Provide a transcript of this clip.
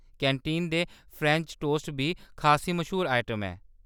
Canteen दे French toast बी खासी मश्हूर आइटम ऐ।